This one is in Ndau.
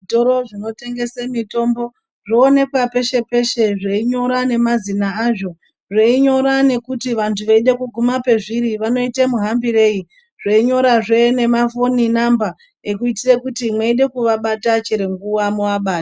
Zvitoro zvinotengesa mitombo zvoonekwa peshe peshe zveinyora nemazina azvo zveinyora nekuti vantu vaida kuguma pezviri vanoita mahambireyi zveinyorazve nemafoni namba ekuitira kuti meida kuvabata chero nguva muvabate.